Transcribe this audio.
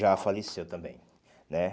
Já faleceu também, né?